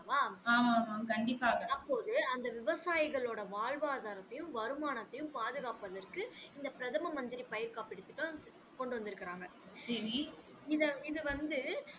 அப்போது அந்த விவசாயிகளோட வாழ்வாதாரத்தையும் வருமானத்தையும் பாதுகாப்பதற்கு இந்த பிரதம மந்திரி பயிர் காப்பிட்டு திட்டம் கொண்டு வந்து இருக்காங்க இந்த வந்து